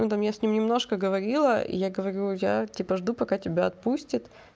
ну там я с ним немножко говорила я говорю я тебя типа жду пока тебя отпустят